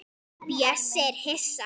Bjössi er hissa.